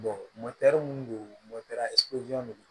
minnu don de do